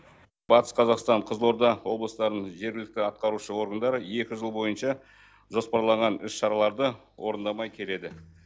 батыс қазақстан қызылорда облыстарының жергілікті атқарушы органдары екі жыл бойынша жоспарланған іс шараларды орындамай келеді